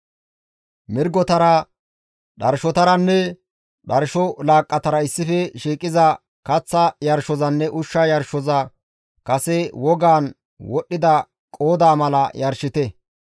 Mirgotara, dharshotaranne dharsho laaqqatara issife shiiqiza kaththa yarshozanne ushsha yarshoza kase wogaan wodhdhida qoodaa mala yarshite.